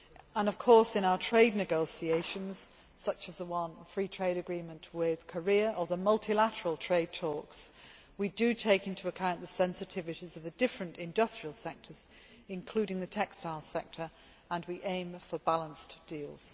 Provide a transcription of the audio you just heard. And, of course, in our trade negotiations, such as the free trade agreement with Korea or the multilateral trade talks, we do take into account the sensitivities of the different industrial sectors, including the textile sector, and we aim for balanced deals.